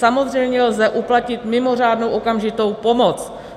Samozřejmě lze uplatnit mimořádnou okamžitou pomoc.